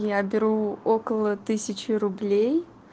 я беру около тысячи рублей